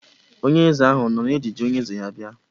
Onye eze ahụ ọ nọ n'ejiji onye eze ya bịa?